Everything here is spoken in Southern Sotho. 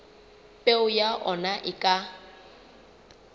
peo ya ona e ka